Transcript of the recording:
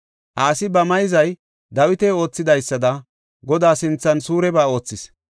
Asi ba mayzay Dawiti oothidaysada, Godaa sinthan suureba oothis.